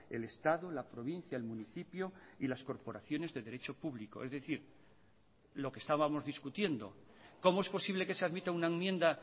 el estado la provincia el municipio y las corporaciones de derecho público es decir lo que estábamos discutiendo cómo es posible que se admita una enmienda